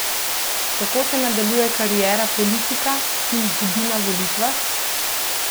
Kako se nadaljuje kariera politika, ki izgubi na volitvah?